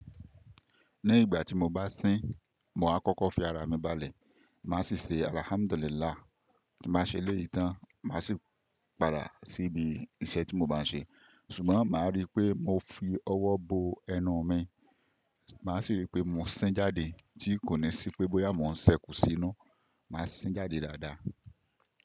Ní ìgbà tí mo bá sín, mo á kọ́kọ́ fi ara mi balẹ̀. Máa sì ṣe “Alhamdulillah”. Ti n ba ṣe léyìí tán, màá sì padà síbi iṣẹ́ tí mo bá ń ṣe. Ṣùgbọ́n màá rí pé mo fi ọwọ́ bo ẹnu mi, màá sì rí pé mo sín jáde tí kò ní sí pé bóyá mo ń sẹ́kù sí inú. Màá sín jáde dáadáa.